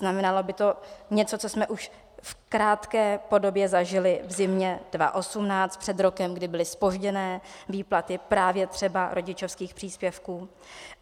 Znamenalo by to něco, co jsme už v krátké podobě zažili v zimě 2018, před rokem, kdy byly zpožděné výplaty právě třeba rodičovských příspěvků.